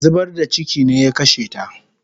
Zubar da chiki ne ya kashe ta